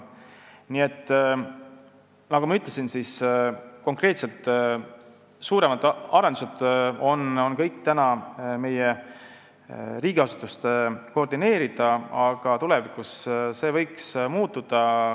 Nii et nagu ma ütlesin, suuremad arendused on praegu kõik meie riigiasutuste koordineerida, aga tulevikus võiks see muutuda.